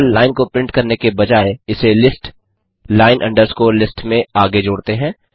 केवल लाइन को प्रिंट करने के बजाय इसे लिस्ट लाइन अंडरस्कोर लिस्ट में आगे जोड़ते हैं